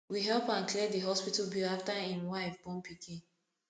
we help am clear di hospital bill afta im wife born pikin